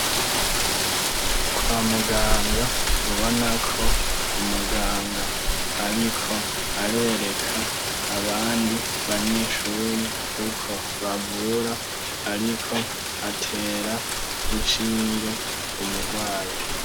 Kwa muganga, ubona ko, umuganga, ariko arereka abandi banyeshure, uko bavura, ariko atera inshinge, umurwayi.